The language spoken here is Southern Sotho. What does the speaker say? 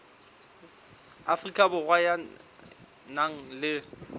afrika borwa ya nang le